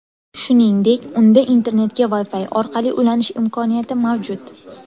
Shuningdek unda internetga Wi-Fi orqali ulanish imkoniyati mavjud.